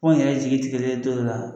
Anw yɛrɛ jigi tigɛlen don dɔw la.